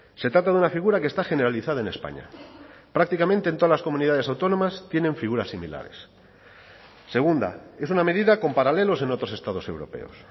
se trata de una figura que está generalizada en españa prácticamente en todas las comunidades autónomas tienen figuras similares segunda es una medida con paralelos en otros estados europeos